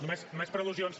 només per al·lusions